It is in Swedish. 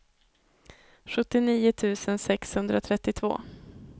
sjuttionio tusen sexhundratrettiotvå